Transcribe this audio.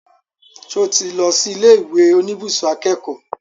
Ṣo tí lọ sí ilé ìwé oníbùsùn akẹ́kọ̀ọ́?